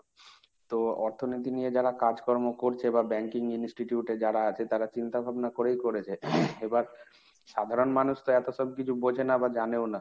তো অর্থনীতি নিয়ে যারা কাজকর্ম করছে বা banking institute এ যারা আছে তারা চিন্তা ভাবনা করেই করেছে। এবার সাধারণ মানুষ তো এত সব কিছু বোঝেনা বা জানেও না।